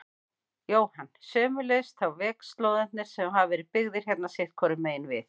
Jóhann: Sömuleiðis þá vegslóðarnir sem hafa verið byggðir hérna sitthvoru megin við?